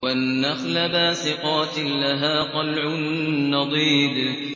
وَالنَّخْلَ بَاسِقَاتٍ لَّهَا طَلْعٌ نَّضِيدٌ